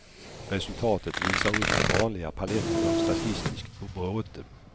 Resultatet visar upp den vanliga paletten av statistiskt bråte.